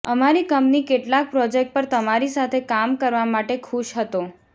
અમારી કંપની કેટલાક પ્રોજેક્ટ પર તમારી સાથે કામ કરવા માટે ખુશ હતો